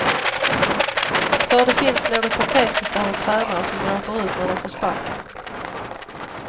För det finns något patetiskt över tränare som gråter ut när de får sparken.